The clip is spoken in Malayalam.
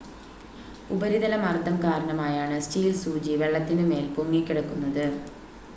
ഉപരിതല മർദ്ദം കാരണമായാണ് സ്റ്റീൽ സൂചി വെള്ളത്തിനു മേൽ പൊങ്ങിക്കിടക്കുന്നത്